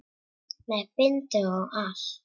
Með bindi og allt!